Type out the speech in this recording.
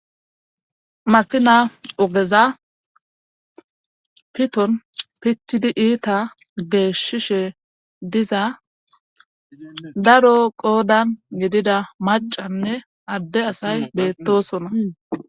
makina ogeza piton pictidi iita geeshshishe diza daro qoodan gidida macanne adde asay beettosona